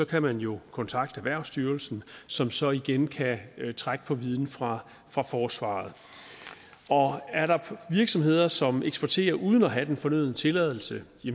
kan man jo kontakte erhvervsstyrelsen som så igen kan trække på viden fra fra forsvaret er der virksomheder som eksporterer uden at have den fornødne tilladelse